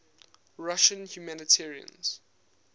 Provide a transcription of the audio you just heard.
russian humanitarians